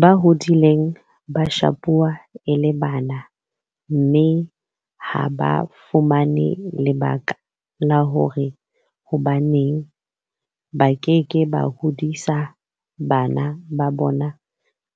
Ba hodile ba shapuwa e le bana mme ha ba fumane lebaka la hore hobaneng ba ke ke ba hodisa bana ba bona